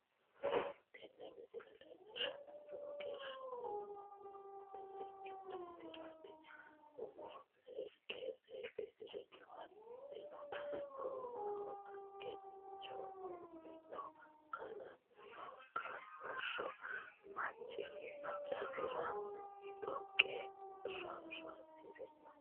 Tiini miisle leelshanohu loowo geshaa biifanoo wedelchhi daafratti uumo seeke seedsrinno haatino goiwahoo geetcho wooridhno kooleno koolsho maacasirano xooqa rarasrino.